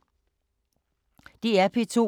DR P2